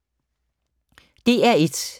DR1